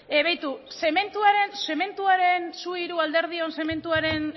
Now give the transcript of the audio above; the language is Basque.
beitu zementuaren